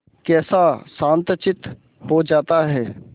कैसा शांतचित्त हो जाता है